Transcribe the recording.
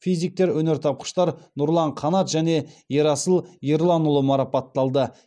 физиктер өнертапқыштар нұрлан қанат және ерасыл ерланұлы марапатталды